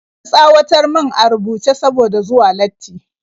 An tsawatar mun a rubuce saboda zuwa latti